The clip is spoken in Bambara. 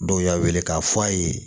Dɔw y'a wele k'a fɔ a ye